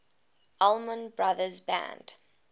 allman brothers band